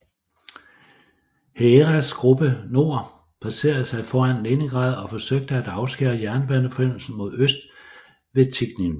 Heeresgruppe Nord placerede sig foran Leningrad og forsøgte at afskære jernbaneforbindelsen mod øst ved Tikhvin